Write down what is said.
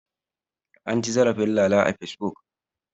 An ci zarafin Lala a Fesbuk.